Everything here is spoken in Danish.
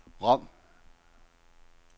Rom